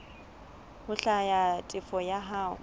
ho hlwaya tefo ya hao